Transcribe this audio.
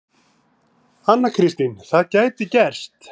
Anna Kristín: Það gæti gerst.